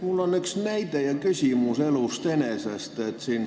Mul on üks näide ja küsimus elust enesest.